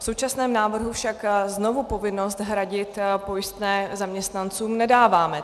V současném návrhu však znovu povinnost hradit pojistné zaměstnancům nedáváme.